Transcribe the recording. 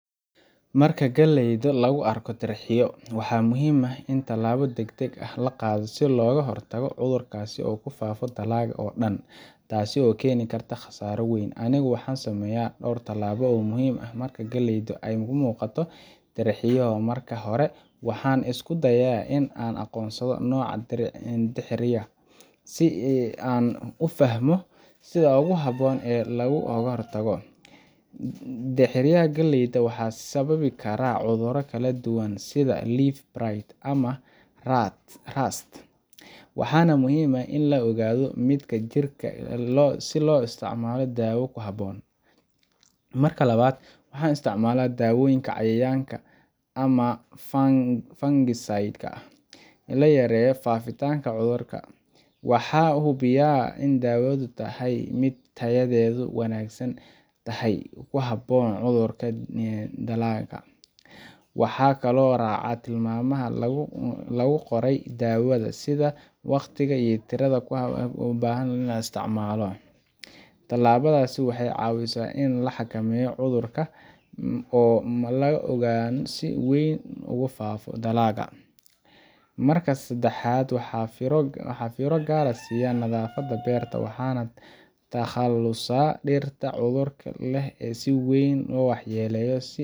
Marka galleyda lagu arko dirxiyo, waxaa muhiim ah in tallaabo degdeg ah la qaado si looga hortago in cudurkaas uu ku faafo dalagga oo dhan, taasoo keeni karta khasaaro weyn. Anigu waxaan sameeyaa dhowr talaabo oo muhiim ah marka galleyda ay ka muuqato dirxiyo. Marka hore, waxaan isku dayaa in aan aqoonsado nooca dirxiga si aan u fahmo sida ugu habboon ee looga hortagi karo. Dirxiga galleyda waxaa sababi kara cudurro kala duwan sida leaf blight ama rust, waxaana muhiim ah in la ogaado midka jirta si loo isticmaalo daawo ku habboon. Marka labaad, waxaan isticmaalaa daawooyinka cayayaanka ama fungicides-ka si loo yareeyo faafitaanka cudurka. Waxaan hubiyaa in daawadu tahay mid tayadeedu wanaagsan tahay oo ku habboon cudurka la dagaalanka. Waxaan kaloo raacaa tilmaamaha lagu qoray daawada, sida waqtiga iyo tirada loo baahan yahay in la isticmaalo. Tallaabadan waxay caawisaa in la xakameeyo cudurka oo aan loo ogolaan in uu si weyn u faafiyo dalagga. Marka saddexaad, waxaan fiiro gaar ah siiya nadaafadda beerta. Waxaan ka takhalusaa dhirta cudurka leh ee si weyn u waxyeelloobay, si